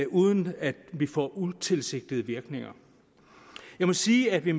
uden at vi får utilsigtede virkninger jeg må sige at vi